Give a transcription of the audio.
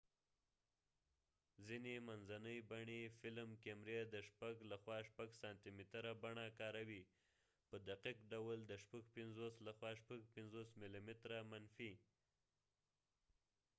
ځینې منځنۍ بڼي فلم کیمرې د ۶ لخوا ۶ سانتي متره بڼه کاروي، په دقیق ډول د ۵۶ لخوا ۵۶ ملي متره منفي